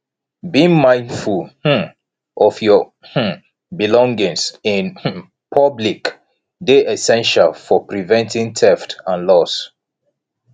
being mindful um of your um belongings in um public dey essential for preventing theft and loss